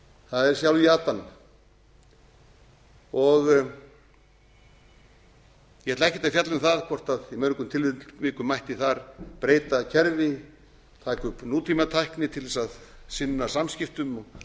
það er sjálf jatan ég ætla ekkert að fjalla um það hvort í mörgum tilvikum mætti þar breyta kerfi taka upp nútímatækni til að sinna samskiptum og